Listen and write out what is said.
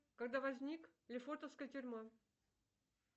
когда возник лефортовская тюрьма